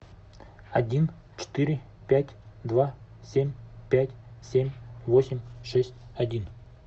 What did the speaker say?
один четыре пять два семь пять семь восемь шесть один